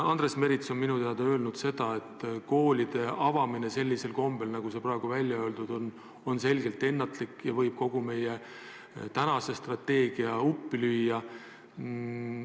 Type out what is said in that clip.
Andres Merits on minu teada rääkinud ka sellest, et koolide avamine sellisel kombel, nagu see on praegu välja öeldud, oleks selgelt ennatlik ja võib kogu meie praeguse strateegia uppi lüüa.